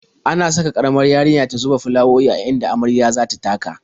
Ana sa ƙaramar yarinya tana zuba fulawowi a inda marya za ta taka.